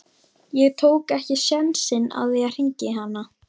Ég tók ekki sénsinn á því að hringja í hana.